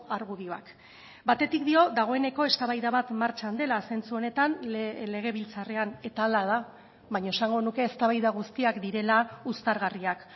argudioak batetik dio dagoeneko eztabaida bat martxan dela zentzu honetan legebiltzarrean eta hala da baina esango nuke eztabaida guztiak direla uztargarriak